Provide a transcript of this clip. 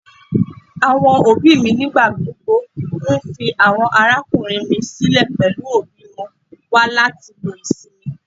Àwọn òbí mi nígbà gbogbo nfi àwọn arákùnrin mi sílẹ pẹlú òbí wọn wá láti lo ìsinmi.